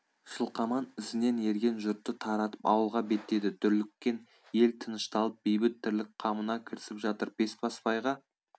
жылқаман ізінен ерген жұртты таратып ауылға беттеді дүрліккен ел тынышталып бейбіт тірлік қамына кірісіп жатыр бесбасбайға